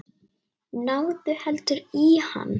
Náðu heldur í hann.